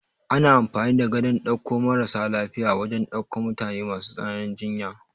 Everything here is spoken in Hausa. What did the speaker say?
Ana amfani da Gadon ɗaukan maras lafiya wajan daukan mutane masu tsananin jinya